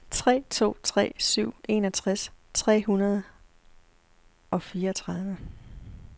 tre to tre syv enogtres tre hundrede og fireogtredive